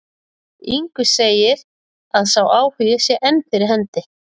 Ingvi segir að sá áhugi sé enn fyrir hendi.